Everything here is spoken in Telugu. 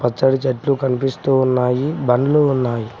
పచ్చడి చెట్లు కనిపిస్తూ ఉన్నాయి బండ్లు ఉన్నాయి.